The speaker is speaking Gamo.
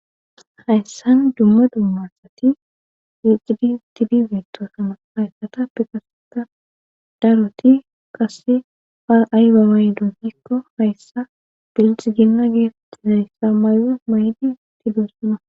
Hayssan dumma dummarsati wixxidi tidi zeektosama haykatappe kaseta daroti qasse par'ayba may donhikko hayssa dildihginna geeftizayssa may'o maydi tidossana.